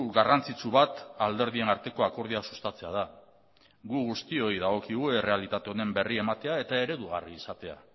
garrantzitsu bat alderdien arteko akordioa sustatzea da gu guztioi dagokigu errealitate honen berri ematea eta eredugarria izatea